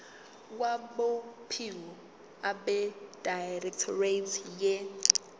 kwabophiko abedirectorate ye